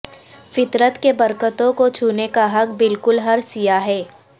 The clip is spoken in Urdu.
فطرت کے برکتوں کو چھونے کا حق بالکل ہر سیاح ہے